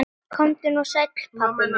Komdu nú sæll, pabbi minn.